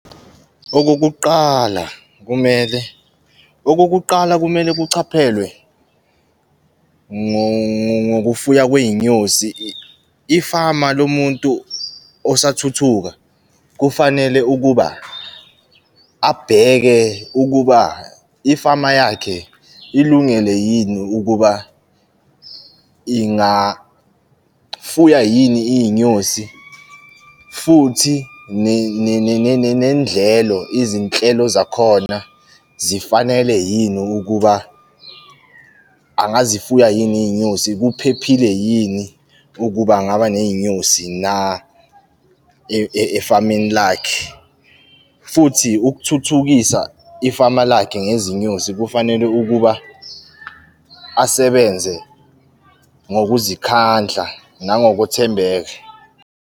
Okokuqala kumele, okokuqala kumele kucaphelwe ngokufuya kwey'nyosi. Ifama lomuntu osathuthuka, kufanele ukuba abheke ukuba ifama yakhe ilungele yini ukuba ingafuya yini iy'nyosi, futhi nendlelo izinhlelo zakhona zifanele yini ukuba angazifuya yini iy'nyosi kuphephile yini ukuba angaba ney'nyosi la efamini lakhe. Futhi ukthuthukisa ifama lakhe ngezinyosi kufanele ukuba asebenze ngokuzikhandla nangokuthembeka.